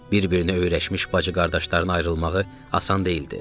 Bir-birinə öyrəşmiş bacı-qardaşların ayrılmağı asan deyildi.